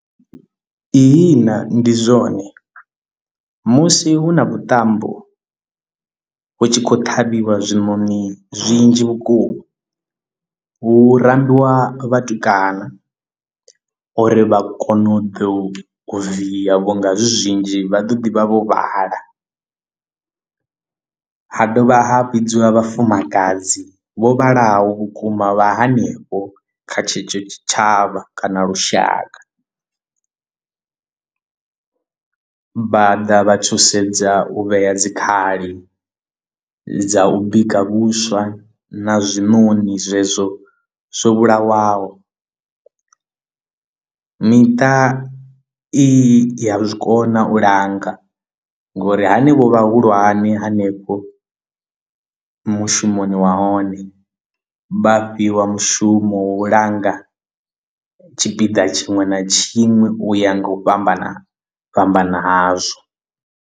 Ihina ndi zwone musi hu na vhuṱambo hu tshi khou ṱhavhiwa zwiṋoṋi zwinzhi vhukuma hu rambiwa vhatukana uri vha kone u ḓo via vho nga zwi zwinzhi vha ḓo ḓi vha vho vhala ha dovha ha vhidziwa vhafumakadzi vho vhalaho vhukuma vha hanefho kha tshetsho tshitshavha kana lushaka. Vhaḓa vha thusedza u vhea dzikhali dza u bika vhuswa na zwiṋoṋi zwezwo zwo vhulawaho. Miṱa i ya zwikona u langa ngori hanevho vhahulwane hanefho mushumoni wahone vha fhiwa mushumo wa u langa tshipiḓa tshiṅwe na tshiṅwe u ya nga u fhambana fhambana hazwo.